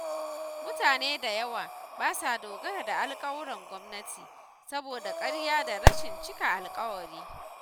Mutane da yawa ba sa dogara da alƙawuran gwamnati, saboda ƙarya da rashin cika alƙawari.